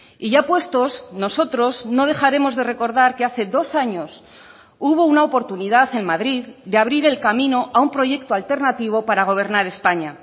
y ya puestos nosotros no dejaremos de recordar que hace dos años hubo una oportunidad en madrid de abrir el camino a un proyecto alternativo para gobernar españa